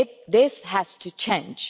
This has to change.